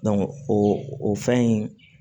o o fɛn in